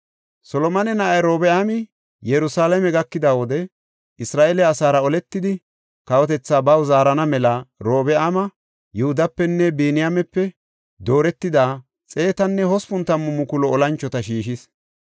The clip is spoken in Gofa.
Solomone na7ay Robi7aami Yerusalaame gakida wode, Isra7eele asaara oletidi, kawotethaa baw zaarana mela Robi7aami Yihudapenne Biniyaamepe dooretida 180,000 olanchota shiishis.